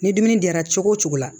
Ni dumuni diyara cogo o cogo la